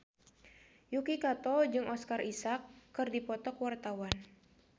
Yuki Kato jeung Oscar Isaac keur dipoto ku wartawan